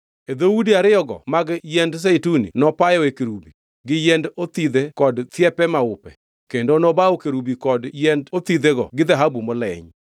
E dhoudi ariyogo mag yiend zeituni nopayoe kerubi, gi yiend othidhe kod thiepe maupe, kendo nobawo kerubi kod yiend othidhego gi dhahabu moleny.